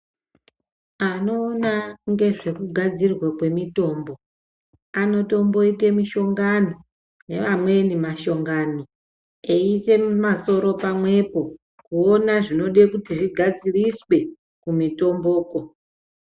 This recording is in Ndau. Anoona ngezvekugadzirwa kwemitombo anotomboite mishongano nevamweni mashongano eiise masoro pamwepo kuona zvinoda kuti zvigadziriswa kumitombokwo.